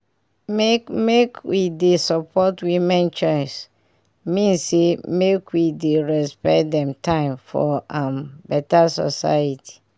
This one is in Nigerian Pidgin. make make we dey support women choice mean say make we dey respect dem time for um beta society